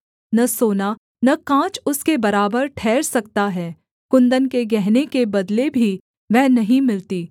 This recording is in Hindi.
न सोना न काँच उसके बराबर ठहर सकता है कुन्दन के गहने के बदले भी वह नहीं मिलती